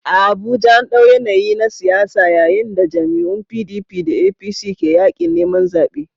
A Abuja, an ɗau yanayi na siyasa yayin da jam'iyyun PDP da APC ke yaƙin neman zaɓe